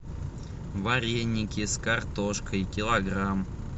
вареники с картошкой килограмм